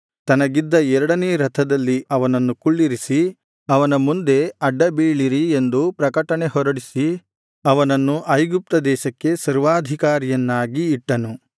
ತನಗಿದ್ದ ಎರಡನೇ ರಥದಲ್ಲಿ ಅವನನ್ನು ಕುಳ್ಳಿರಿಸಿ ಅವನ ಮುಂದೆ ಅಡ್ಡ ಬೀಳಿರಿ ಎಂದು ಪ್ರಕಟಣೆ ಹೊರಡಿಸಿ ಅವನನ್ನು ಐಗುಪ್ತ ದೇಶಕ್ಕೆ ಸರ್ವಾಧಿಕಾರಿಯನ್ನಾಗಿ ಇಟ್ಟನು